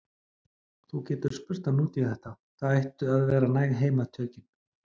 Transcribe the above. Þú getur spurt hann út í þetta, það ættu að vera hæg heimatökin.